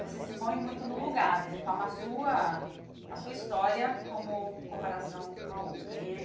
Você se põe muito no lugar, é é é você toma a sua a sua história como comparação com a outra e aí.